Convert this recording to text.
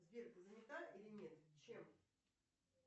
сбер ты занята или нет чем